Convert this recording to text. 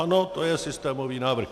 Ano, to je systémový návrh.